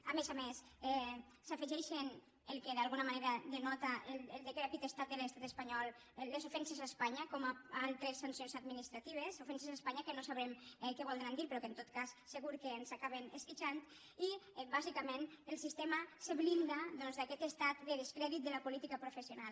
a més a més s’afegeixen el que d’alguna manera denota el decrèpit estat de l’estat espanyol les ofenses a espanya com a altres sancions administratives ofenses a espanya que no sabrem què voldran dir però que en tot cas segur que ens acaben esquitxant i bàsicament el sistema es blinda d’aquest estat de descrèdit de la política professional